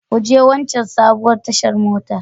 Ku je waccan sabuwar tashar mota.